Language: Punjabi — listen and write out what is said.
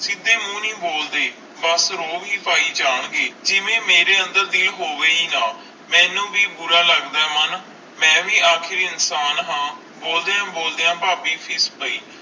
ਸੀਧੇ ਮੂੰਹ ਨਹੀਂ ਬੋਲਦੇ ਬਸ ਰੌਬ ਹੈ ਪੈ ਜਾਨ ਗਏ ਜਿਵੇ ਮੇਰੇ ਅੰਦਰ ਦਿਲ ਹੋਵੇ ਹੈ ਨਾ ਮੇਨੂ ਵੀਏ ਬੁਰਾ ਲੱਗਦਾ ਆਈ ਮਨ ਮਈ ਵੇ ਆਖ਼ਰ ਇਨਸਾਨ ਹਨ ਬੋਲਦਿਆਂ ਬੋਲਦਿਆਂ ਫਾਬੀ ਫੀਸ ਪੈ